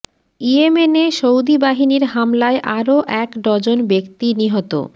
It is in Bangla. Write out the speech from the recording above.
ইয়েমেনে সৌদি বাহিনীর হামলায় আরো এক ডজন ব্যক্তি নিহত